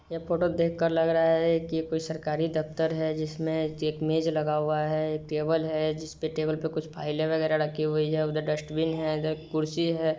यह फोटो देख कर लग रहा है की कोई सरकारी दफ्तर है जिसमें टेबुल हैं कुछ फाइल है| उधर डस्टबिन और खुरसी हैं।